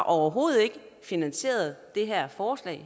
overhovedet finansieret det her forslag